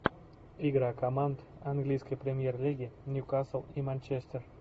игра команд английской премьер лиги ньюкасл и манчестер